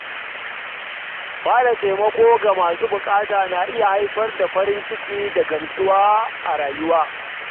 Ba da taimako ga masu bukata na iya haifar da farin ciki da gamsuwa a rayuwa.